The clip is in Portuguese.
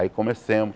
Aí começamos.